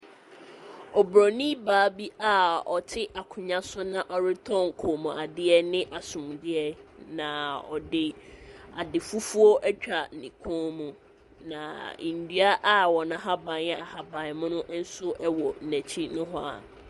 Oburoni baa bi a ɔte akonnwa so na ɔretɔn kɔmmuadeɛ ne asomdeɛ, na ɔde ade fufuo atwa ne kɔn mu, na nnua a wɔn ahaban yɛ ahaban mono nso wɔ n'akyi nohoa.